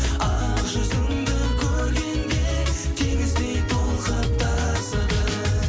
ақ жүзіңді көргенде теңіздей толқып тасыдым